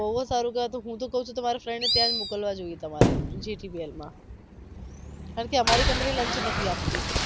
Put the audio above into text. બવ જ સારું કેવાય તો હું તો કવ છુ તમારા friend ને ત્યાં જ મોકલવા જોઈયે તમારે GTPL માં કારણકે અમારી company lunch નથી આપતી